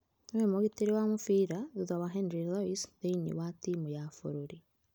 Nĩwe mũgitĩri wa mũbira thutha wa Henry Loise thĩinĩ wa timu ya bũrũri.